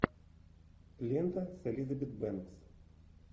лента с элизабет бэнкс